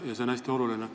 See on hästi oluline.